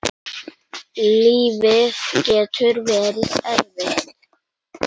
Lífið getur verið erfitt.